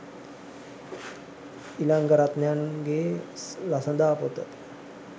ඉලංගරත්නයන් ගේ ළසඳා පොත